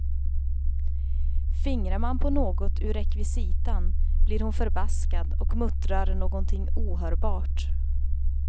Fingrar man på något ur rekvisitan blir hon förbaskad och muttrar någonting ohörbart.